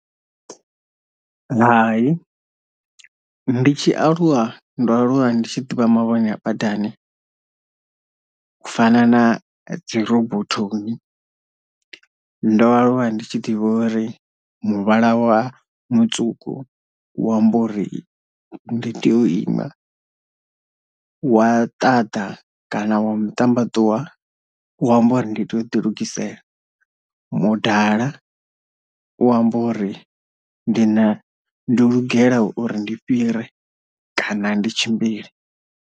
Hai ndi tshi aluwa ndo alulwa ndi tshi ḓivha mavhone a badani u fana na dzi robothoni, ndo alulwa ndi tshi ḓivha uri muvhala wa mutswuku u amba uri ndi tea u ima, wa ṱaḓa kana wa muṱambaṱuwa wa amba uri ndi tea u ḓi lugisela, mudala wa amba uri ndi na ndo lugela uri ndi fhire kana ndi tshimbile.